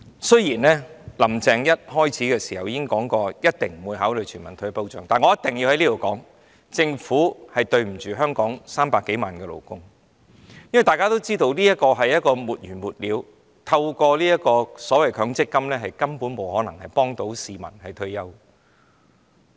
雖然"林鄭"一開始已表明一定不會考慮全民退保，但我必須在這裏說，政府虧待香港300多萬名勞工，因為大家都知道這是沒完沒了的，強積金根本不可能幫助市民應付退休生活。